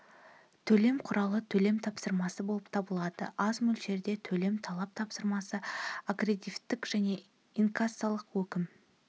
төлем құралы төлем тапсырмасы болып табылады аз мөлшерде төлем талап тапсырмасы аккредетив және инкассалық өкім